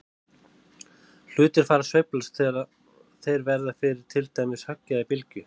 Hlutir fara að sveiflast þegar þeir verða fyrir til dæmis höggi eða bylgju.